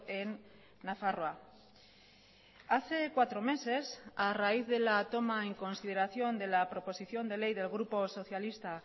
en nafarroa hace cuatro meses a raíz de la toma en consideración de la proposición de ley del grupo socialista